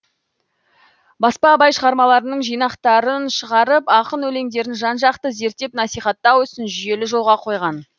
баспа абай шығармаларының жинақтарын шығарып ақын өлеңдерін жан жақты зерттеп насихаттау ісін жүйелі жолға қойған